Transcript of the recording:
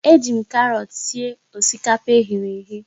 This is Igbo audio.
Eji m karọọt sie osikapa eghere eghe.